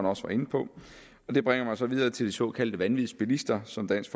også var inde på og det bringer mig så videre til de såkaldte vanvidsbilister som dansk